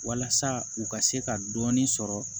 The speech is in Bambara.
Walasa u ka se ka dɔɔnin sɔrɔ